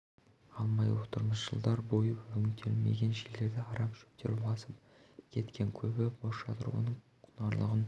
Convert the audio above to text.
алмай отырмыз жылдар бойы өңделмеген жерлерді арам шөптер басып кеткен көбі бос жатыр оның құнарлығын